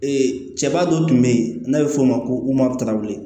cɛba dɔ tun be yen n'a be f'o ma ko cstabu